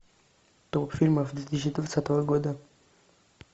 топ фильмов две тысячи двадцатого года